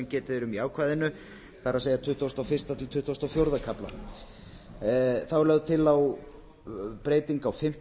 getið er í ákvæðinu það er tuttugasti og fyrsti til tuttugasta og fjórða kafla þá er lögð til breyting á fimmtu